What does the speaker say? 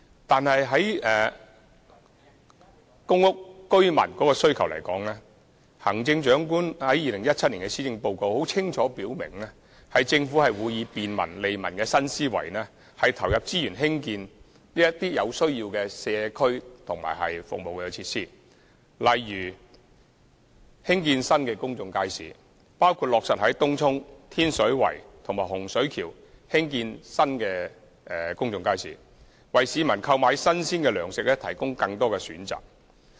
但是，在公屋居民日常生活需要方面，行政長官在2017年施政報告中清楚表明，政府會以便民利民的新思維，投入資源興建有需要的社區和服務設施，例如興建新的公眾街市，包括落實在東涌、天水圍和洪水橋興建新公眾街市，為市民購買新鮮糧食提供更多選擇。